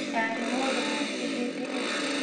Ndarĩ mũndũ mwĩthĩ hĩndĩ ĩyo.